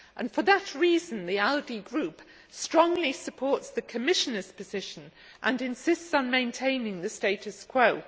For that reason, the ALDE Group strongly supports the Commissioner's position and insists on maintaining the status quo.